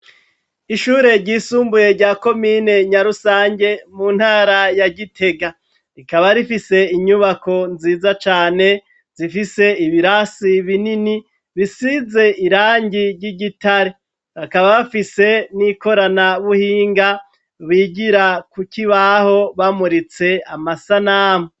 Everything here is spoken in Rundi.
Ishure ry'isumbuye rya komine nya rusange ,mu ntara ya gitega, rikaba rifise inyubako nziza cane, zifise ibirasi binini bisize irangi ry'igitare ,bakaba bafise n'ikorana buhinga, bigira kukibaho bamuritse amasanamu.